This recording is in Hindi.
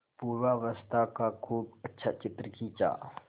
पूर्वावस्था का खूब अच्छा चित्र खींचा